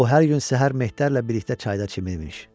O hər gün səhər Mehdərlə birlikdə çayda çimirmiş.